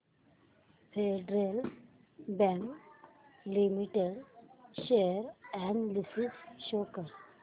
federal Bank Limited share analysis show कर